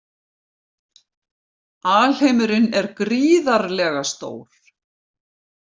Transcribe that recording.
Alheimurinn er gríðarlega stór.